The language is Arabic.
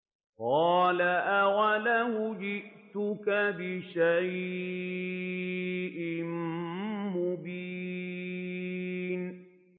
قَالَ أَوَلَوْ جِئْتُكَ بِشَيْءٍ مُّبِينٍ